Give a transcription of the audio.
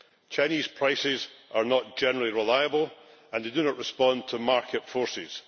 Chinese prices are not generally reliable, and they do not respond to market forces.